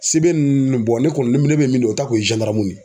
Sebe nun bɔn ne kɔni ne be min dɔn o ta kun ye zandaramu ye